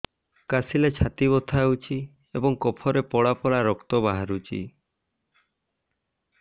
କାଶିଲେ ଛାତି ବଥା ହେଉଛି ଏବଂ କଫରେ ପଳା ପଳା ରକ୍ତ ବାହାରୁଚି